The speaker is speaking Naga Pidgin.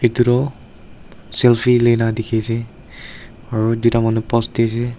edu toh selfie luila dikhi ase aro tuita manu post diase.